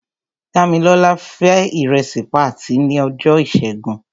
Dámilọ́lá fé ìrẹsì patí ní ọjọ́ ìṣẹ́gun.